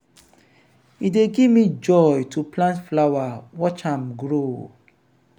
e dey give me joy to plant flower watch am grow.